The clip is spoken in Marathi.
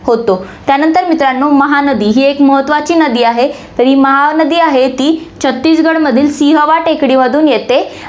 होतो. त्यानंतर मित्रांनो, महानदी ही एक महत्वाची नदी आहे. तर ही महानदी आहे ती छत्तीसगढमधील सिंहवा टेकडीमधून येथे